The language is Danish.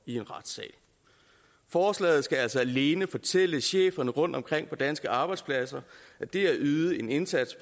i en retssal forslaget skal altså alene fortælle cheferne rundt omkring på danske arbejdspladser at det at yde en indsats